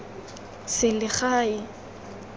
selegae